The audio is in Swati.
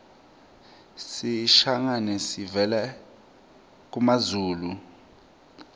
sishangane savela kumazulu